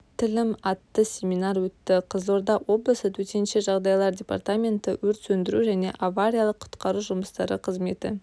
тілім атты семинар өтті қызылорда облысы төтенше жағдайлар департаменті өрт сөндіру және авариялық-құтқару жұмыстары қызметі